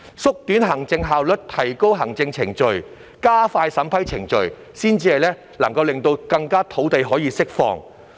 只有提高行政效率、縮短行政程序及加快審批程序，才可更快釋放土地。